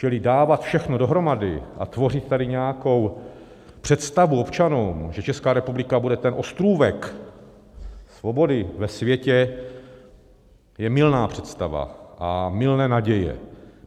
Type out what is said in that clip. Čili dávat všechno dohromady a tvořit tady nějakou představu občanům, že Česká republika bude ten ostrůvek svobody ve světě, je mylná představa a mylné naděje.